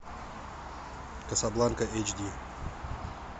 касабланка эйч ди